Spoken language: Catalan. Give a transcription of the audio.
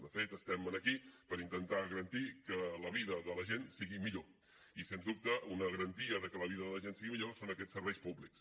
de fet estem aquí per intentar garantir que la vida de la gent sigui millor i sens dubte una garantia de que la vida de la gent sigui millor són aquests serveis públics